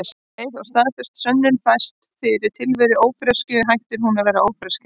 Um leið og staðfest sönnun fæst fyrir tilveru ófreskju hættir hún að vera ófreskja.